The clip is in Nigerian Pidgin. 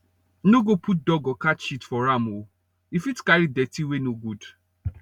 no go put dog or cat shit for farm o e fit carry dirty wey no good